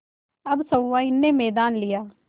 अब सहुआइन ने मैदान लिया